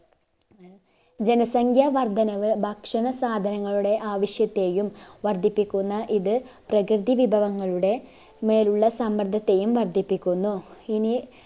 ജനസംഖ്യ വർദ്ധനവ് ഭക്ഷണ സാധനങ്ങളുടെ ആവിശ്യത്തെയും വർദ്ധിപ്പിക്കുന്ന ഇത് പ്രകൃതി വിഭവങ്ങളുടെ മേലുള്ള സമ്മർദത്തെയും വർധിപ്പിക്കുന്നു ഇനി